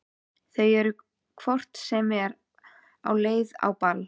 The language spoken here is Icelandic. Þau eru hvort sem er á leið á ball.